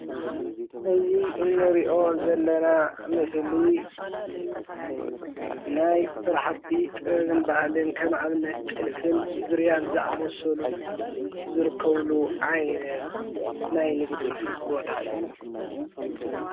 እዚ እንሪኦ ዘለና ምስሊ ናይ ስራሕቲ ጥበብን ባህልን ከም ኣብነት ጥልፍን ዙርያን ዝኣመሰሉ ዝርከብሉ ዓይነት ናይ ንግዲ ቦታ እዩ፡፡